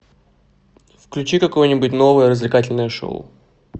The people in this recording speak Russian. включи какое нибудь новое развлекательное шоу